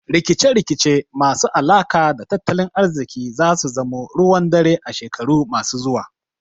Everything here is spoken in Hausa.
Rikice rikice masu alaka da tattalin ariziki zasu zamo ruwan dare a shekaru masu zuwa